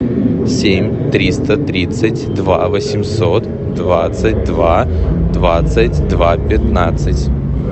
семь триста тридцать два восемьсот двадцать два двадцать два пятнадцать